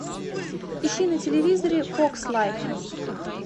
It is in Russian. ищи на телевизоре фокс лайф